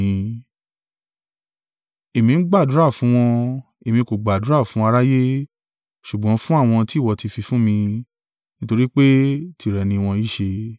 Èmi ń gbàdúrà fún wọn, èmi kò gbàdúrà fún aráyé, ṣùgbọ́n fún àwọn tí ìwọ ti fi fún mi; nítorí pé tìrẹ ni wọ́n í ṣe.